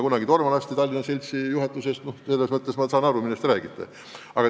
Kunagi olin ma tormalaste Tallinna seltsi juhatuses, nii et selles mõttes ma saan aru, millest räägite.